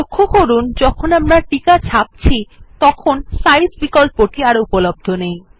লক্ষ্য করুন যখন আমরা টিকা ছাপছি তখন সাইজ বিকল্পটি আর উপলব্ধ নেই